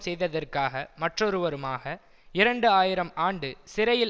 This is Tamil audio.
செய்ததற்காக மற்றொருவருமாக இரண்டு ஆயிரம் ஆண்டு சிறையில்